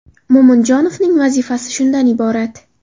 Mo‘minjonovning vazifasi shundan iborat.